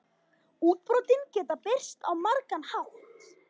Útbrotin geta birst á margan hátt.